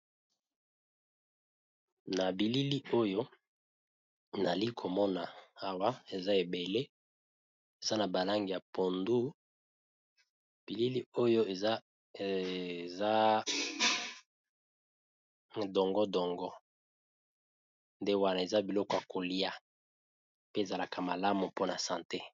Na bilili oyo nayali komona awa eza ebele eza na ba langi ya pondu, bilili oyo eza dongo dongo nde wana eza biloko ya kolia pe ezalaka malamu mpona sante.